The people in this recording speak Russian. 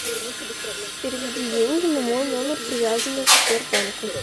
переведи деньги на мой номер привязанный к сбербанку